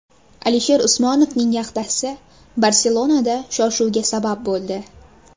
Alisher Usmonovning yaxtasi Barselonada shov-shuvga sabab bo‘ldi .